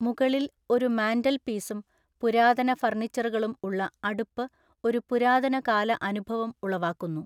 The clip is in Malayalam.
മുകളിൽ ഒരു മാന്റൽപീസും പുരാതന ഫർണിച്ചറുകളും ഉള്ള അടുപ്പു ഒരു പുരാതന കാല അനുഭവം ഉളവാക്കുന്നു.